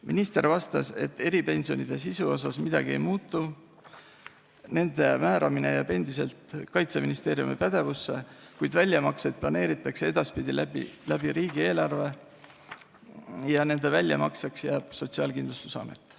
Minister vastas, et eripensionide sisus midagi ei muutu, nende määramine jääb endiselt Kaitseministeeriumi pädevusse, kuid väljamakseid planeeritakse edaspidi läbi riigieelarve ja väljamaksjaks jääb Sotsiaalkindlustusamet.